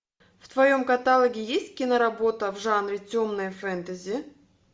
в твоем каталоге есть киноработа в жанре темное фэнтези